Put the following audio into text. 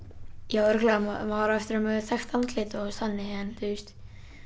já örugglega maður á eftir að verða þekkt andlit og þannig en þú veist